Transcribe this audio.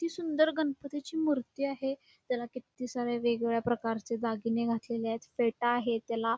हि सुंदर गणपतीची मूर्ती आहे त्याला किती प्रकारचे वेग वेगळे दागिने घातलेले आहेत फेटा आहे त्याला.